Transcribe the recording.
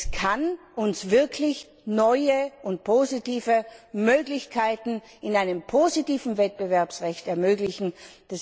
Es kann uns wirklich neue und positive Möglichkeiten in einem positiven Wettbewerbsrecht eröffnen.